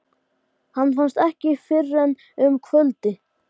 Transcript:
Sigurjón, hvernig kemst ég þangað?